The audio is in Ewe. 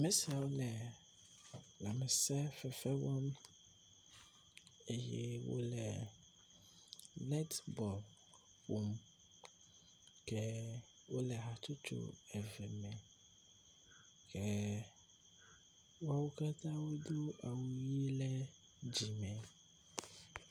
Ame siawo le lãmsefefe wɔm eye wo le net bɔl ƒom ke wo le hatsotso eve me ke wɔwo katã wodo awu ʋi ɖe dzime.